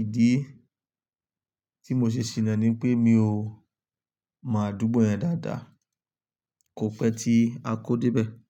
Ìdí tí mo ṣe ṣìná ni pé mi ò mọ àdúgbò yẹn dáadáa, kò pẹ́ tí a kó dé bẹ̀